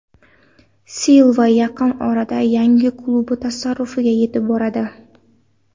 Silva yaqin orada yangi klubi tasarrufiga yetib boradi.